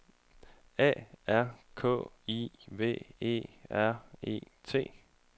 A R K I V E R E T